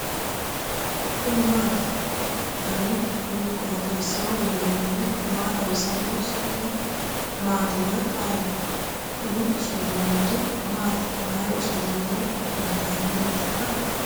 kuni maati ? danu kuni qooxeessaho leellannohu maa xawisanno su'mu maati woy ayeti ? kuni usurroonniri maati mayra usuroonni intannireetikka